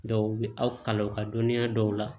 Dɔw bɛ aw ka kalan u ka dɔnniya dɔw la